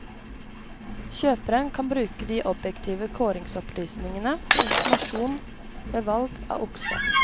Kjøperen kan bruke de objektive kåringsopplysningene som informasjon ved valg av okse.